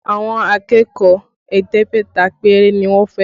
Àwọn akẹ́kọ̀ọ́ ẹ̀ẹ́dẹ́gbẹ̀ta péré ni wọ́n fẹ́